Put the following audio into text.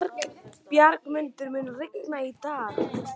Bjargmundur, mun rigna í dag?